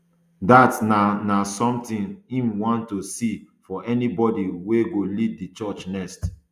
dat na na something im want to see for anybody wey go lead di church next